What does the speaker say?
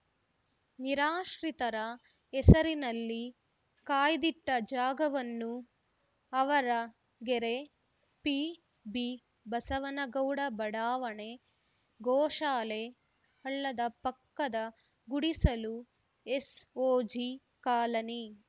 ನಿರಾಶ್ರಿತರ ಹೆಸರಿನಲ್ಲಿ ಕಾಯ್ದಿಟ್ಟಜಾಗವನ್ನು ಆವರಗೆರೆ ಪಿಬಿಬಸವನಗೌಡ ಬಡಾವಣೆ ಗೋಶಾಲೆ ಹಳ್ಳದ ಪಕ್ಕದ ಗುಡಿಸಲು ಎಸ್‌ಓಜಿ ಕಾಲನಿ